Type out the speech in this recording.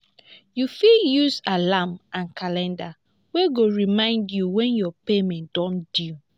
you fit use alarm and calender wey go remind you when your payment don due